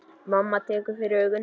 Mamma tekur fyrir augun.